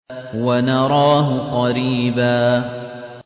وَنَرَاهُ قَرِيبًا